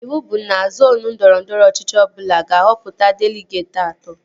Ịwụ bụ na zoonu ndọrọndọrọ ọchịchị ọbụla ga-ahọpụta deligeetị atọ